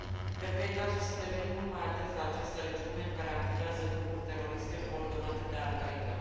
Cred că este cazul să devenim mult mai atenți la această regiune în care activează grupuri teroriste coordonate de Al Qaida.